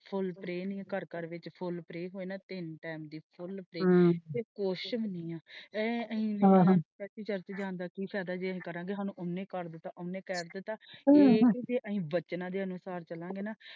ਫੁੱਲ ਪਰੈ ਨਹੀਂ ਘਰ ਘਰ ਵਿੱਚ ਫੁੱਲ ਪਰੈ ਨਹੀਂ ਹੋਣਾ ਤਿੰਨ time ਦੀ ਫੁੱਲ ਪਰੈ ਇਹ ਕੁਝ ਵੀ ਨਹੀਂ ਹੈ ਸਾਡਾ ਚਰਚਾ ਜਾਣ ਦਾ ਕਿ ਫਾਇਦਾ ਸਾਨੂੰ ਉਹਨੇ ਹੀ ਕਰ ਦਿਤਾ ਉਹਨੇ ਹੀ ਕਹਿ ਦਿਤਾ ਤੇ ਜੇ ਅਸੀਂ ਵਚਨਾਂ ਦੇ ਅਨੁਸਾਰ ਚਲਾਂਗੇ ਨਾ।